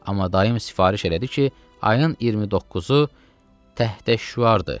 Amma dayım sifariş elədi ki, ayın 29-u təhtəşüardır.